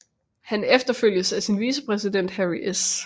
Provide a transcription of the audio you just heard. Han efterfølges af sin vicepræsident Harry S